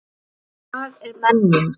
Og hvað er menning?